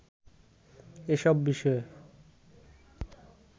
এসব বিষয়ে